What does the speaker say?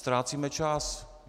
Ztrácíme čas!